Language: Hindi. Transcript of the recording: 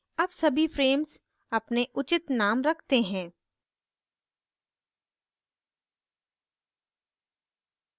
अब सभी frames अपने उचित now रखते हैं